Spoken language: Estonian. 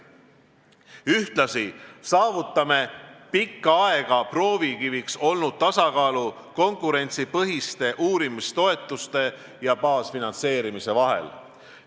Ühtlasi saavutame pikka aega proovikiviks olnud tasakaalu konkurentsipõhiste uurimistoetuste ja baasfinantseerimise vahel.